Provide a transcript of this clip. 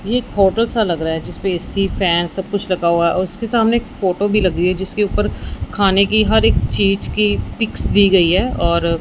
ये एक फोटो सा लग रहा हैं जिस पे ए_सी फॅन सब कुछ रखा हुआ हैं और उसके सामने एक फोटो भीं लगी हुई हैं जिसके ऊपर खाने की हर एक चीज की पिक्स दी गई हैं और--